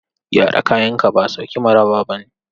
Gyara kayanka ba sauki mu raba bane.